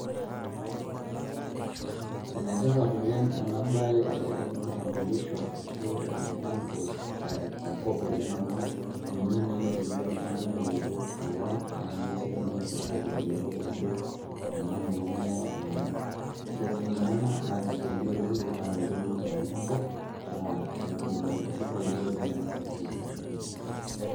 Ene tipat oleng' ena baye e nkitambulisho ashu enkipande tenkop oleng' amu ninye naa itumia oltung'ani ayolou kewon naa ninye sii itumia sirkali ayolou ajo ena murua ing'ua iltung'anak. Ore sininye ena naa isaidia oleng' metaa metii ilmukorani enkop, naa neeku ninye kisaidia oleng' ena siai enkipande.